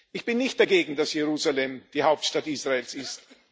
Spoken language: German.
Ich bin nicht dagegen, dass Jerusalem die Hauptstadt Israels ist.